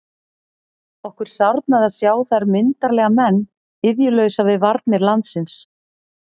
Okkur sárnaði að sjá þar myndarlega menn iðjulausa við varnir landsins.